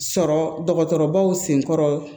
Sɔrɔ dɔgɔtɔrɔbaw senkɔrɔ